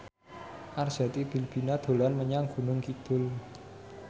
Arzetti Bilbina dolan menyang Gunung Kidul